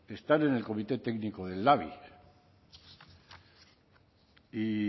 están en el comité técnico de elhabi y